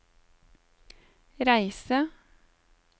reise